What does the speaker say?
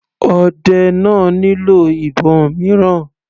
Ọdẹ náà nílò ìbọn mìíràn.